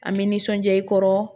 An bɛ nisɔndiya i kɔrɔ